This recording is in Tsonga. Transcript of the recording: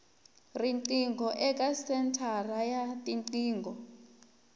riqingho eka senthara ya tiqingho